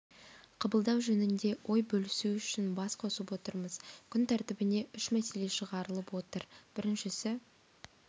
қабылдау жөнінде ой бөлісу үшін бас қосып отырмыз күн тәртібіне үш мәселе шығарылып отыр біріншісі